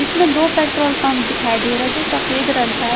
इसमें दो petrol pump दिखाई दे रहा है जो सफेद रंग का--